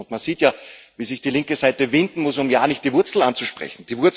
Man sieht ja, wie sich die linke Seite winden muss, um ja nicht die Wurzel anzusprechen.